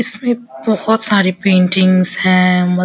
इसमें बहुत सारी पेटिंग्स है मत --